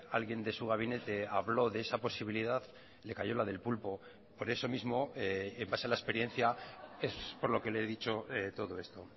alguien de su gabinete habló de esa posibilidad le calló la del pulpo por eso mismo en base a la experiencia es por lo que le he dicho todo esto